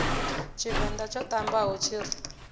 tshivenḓa tsho ṱambaho tshi ri